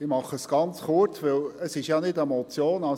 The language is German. Ich mache es ganz kurz, weil es ja keine Motion ist.